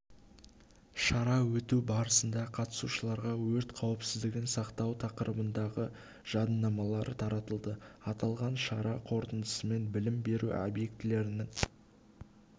шара өту барысында қатысушыларға өрт қауіпсіздігін сақтау тақырыбындағы жадынамалар таратылды аталған шара қорытындысымен білім беру объектілерінің